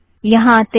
यहाँ आतें हैं